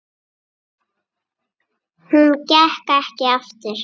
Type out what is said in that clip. Hún gekk ekki aftur.